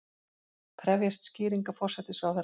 Krefjast skýringa forsætisráðherra